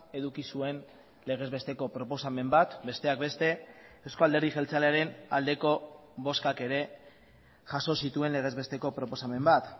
eduki zuen legez besteko proposamen bat besteak beste euzko alderdi jeltzalearen aldeko bozkak ere jaso zituen legez besteko proposamen bat